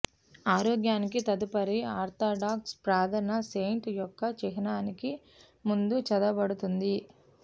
ఆరోగ్యానికి తదుపరి ఆర్థోడాక్స్ ప్రార్థన సెయింట్ యొక్క చిహ్నానికి ముందు చదవబడుతుంది